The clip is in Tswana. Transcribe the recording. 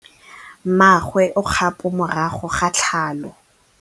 Mmagwe o kgapô morago ga tlhalô.